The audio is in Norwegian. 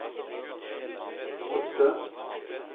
åtte